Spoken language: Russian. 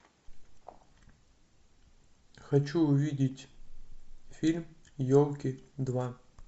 хочу увидеть фильм елки два